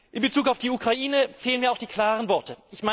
In Bezug auf die Ukraine fehlen mir auch die klaren Worte.